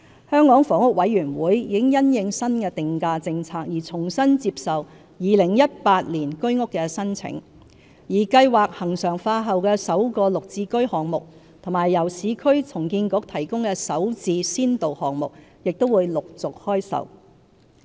香港房屋委員會已因應新定價政策而重新接受2018年居屋的申請，而計劃恆常化後的首個"綠置居"項目和由市區重建局提供的"首置"先導項目，亦會陸續開售。